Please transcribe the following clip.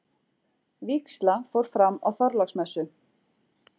Vígsla fór fram á Þorláksmessu.